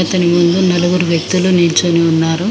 అతని ముందు నలుగురు వ్యక్తులు నిల్చొని ఉన్నారు.